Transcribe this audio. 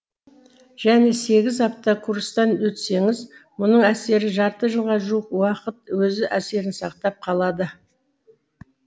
және сегіз апта курстан өтсеңіз мұның әсері жарты жылға жуық уақыт өз әсерін сақтап қалады